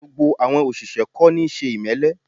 Gbogbo àwọn òṣìṣẹ́ kò níí ṣe ìmẹ́lẹ́